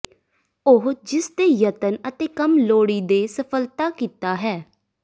ਉਹ ਜਿਸ ਦੇ ਯਤਨ ਅਤੇ ਕੰਮ ਲੋੜੀਦੇ ਸਫਲਤਾ ਕੀਤਾ ਹੈ